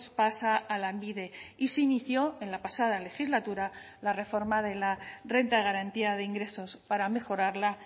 pasa a lanbide y se inició en la pasada legislatura la reforma de la renta de garantía de ingresos para mejorarla